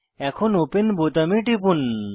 এখন ওপেন বোতামে টিপুন